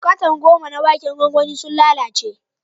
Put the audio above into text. Katan goma na waken gwangwani sun lalace.